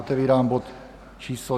Otevírám bod číslo